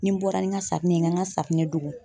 Ni n bɔra ni ŋa safunɛ ye ŋa ŋa safunɛ dogo